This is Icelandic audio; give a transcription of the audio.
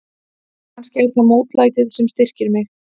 Kannski er það mótlætið sem styrkir mig.